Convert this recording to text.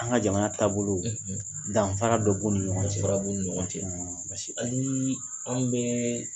An ka jamana taabolo danfa dɔ b'u ni ɲɔgɔn cɛdɔ b'u ni ɲɔgɔn cɛ hali ni anw bɛ